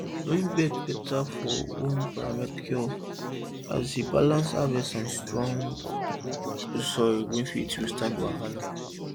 loamy beds beta well for home permaculture as e balance harvest and strong soil wey fit withstand wahala